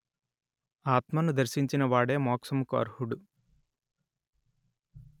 ఆత్మను దర్శించిన వాడే మోక్షముకు అర్హుడు